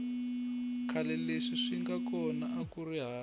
khale leswi swinga kona akuri hava